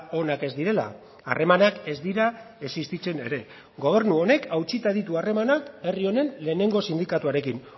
onak ez direla harremanak ez dira existitzen ere gobernu honek hautsita ditu harremanak herri honen lehenengo sindikatuarekin